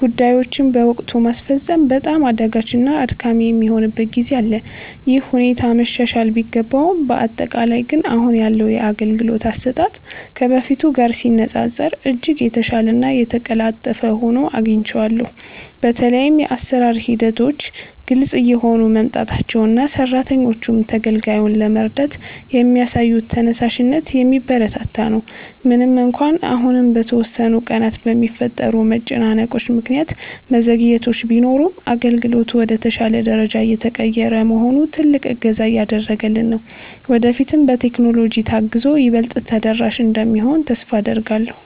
ጉዳዮችን በወቅቱ ማስፈጸም በጣም አዳጋችና አድካሚ የሚሆንበት ጊዜ አለ። ይህ ሁኔታ መሻሻል ቢገባውም፣ በአጠቃላይ ግን አሁን ያለው የአገልግሎት አሰጣጥ ከበፊቱ ጋር ሲነፃፀር እጅግ የተሻለና የተቀላጠፈ ሆኖ አግኝቼዋለሁ። በተለይም የአሰራር ሂደቶች ግልጽ እየሆኑ መምጣታቸውና ሰራተኞቹም ተገልጋዩን ለመርዳት የሚያሳዩት ተነሳሽነት የሚበረታታ ነው። ምንም እንኳን አሁንም በተወሰኑ ቀናት በሚፈጠሩ መጨናነቆች ምክንያት መዘግየቶች ቢኖሩም፣ አገልግሎቱ ወደ ተሻለ ደረጃ እየተቀየረ መሆኑ ትልቅ እገዛ እያደረገልን ነው። ወደፊትም በቴክኖሎጂ ታግዞ ይበልጥ ተደራሽ እንደሚሆን ተስፋ አደርጋለሁ።